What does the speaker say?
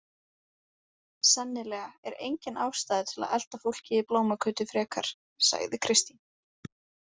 Sennilega er engin ástæða til að elta fólkið í Blómagötu frekar, sagði Kristín.